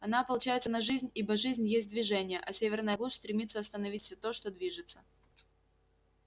она ополчается на жизнь ибо жизнь есть движение а северная глушь стремится остановить всё то что движется